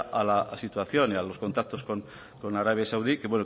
a la situación y a los contactos con arabia saudí